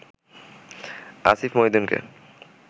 Asif মহিউদ্দিনকে